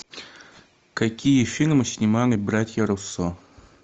какие фильмы снимали братья руссо